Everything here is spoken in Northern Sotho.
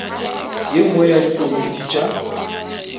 ye nngwe ya dikomiti tša